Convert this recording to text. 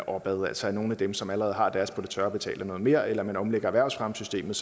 opad altså at nogle af dem som allerede har deres på det tørre betaler noget mere eller at man omlægger erhvervsfremmesystemet